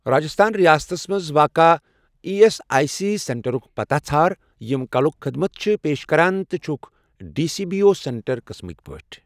راجستھان رِیاستس مَنٛز واقع ایی ایس آٮٔۍ سی سینٹرُک پتاہ ژھار یِم کَلُک خدمت چھِ پیش کران تہٕ چھکھ D C B O centre قٕسمٕکۍ پٲٹھۍ۔